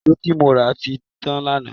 È̀ṣó tí mo rà ti tán lánàá